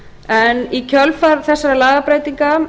en í kjölfar þessara lagabreytinga